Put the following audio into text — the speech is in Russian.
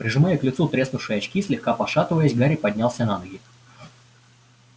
прижимая к лицу треснувшие очки слегка пошатываясь гарри поднялся на ноги